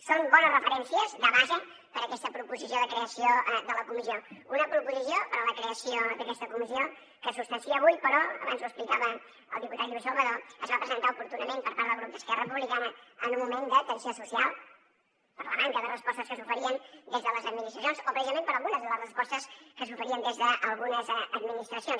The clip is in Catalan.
són bones referències de base per aquesta proposició de creació de la comissió una proposició per a la creació d’aquesta comissió que es substancia avui però abans ho explicava el diputat lluís salvadó es va presentar oportunament per part del grup d’esquerra republicana en un moment de tensió social per la manca de respostes que s’oferien des de les administracions o precisament per algunes de les respostes que s’oferien des d’algunes administracions